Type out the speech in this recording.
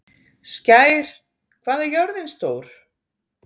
Skær, hvað er jörðin stór?